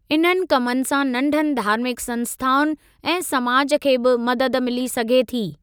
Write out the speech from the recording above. इन्हनि कमनि सां नंढनि धार्मिक संस्थाउनि ऐं समाज खे बि मदद मिली सघे थी।